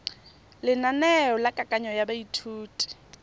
lenaneo la kananyo ya baithuti